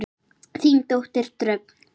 Þín dóttir Dröfn.